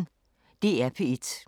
DR P1